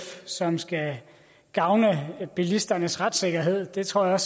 som skal gavne bilisternes retssikkerhed det tror jeg